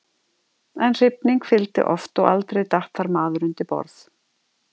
En hrifning fylgdi oft og aldrei datt þar maður undir borð.